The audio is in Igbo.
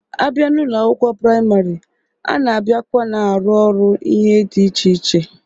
A bịa n'Ụlọ akwụkwọ praịmarị, a na-abiakwa na-arụ ọrụ ihe dị iche iche.